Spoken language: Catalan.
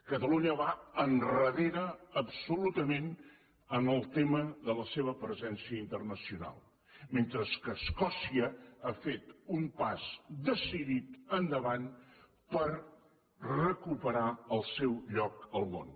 catalunya va endarrere absolutament en el tema de la seva presència internacional mentre que escòcia ha fet un pas decidit endavant per recuperar el seu lloc al món